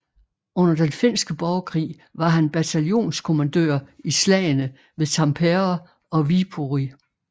Under den finske borgerkrig var han bataljonskommandør i slagene ved Tampere og Viipuri